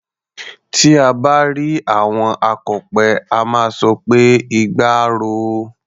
Tí à bá rí àwọn akọ̀pẹ, a máa sọ pé "igba á ro o".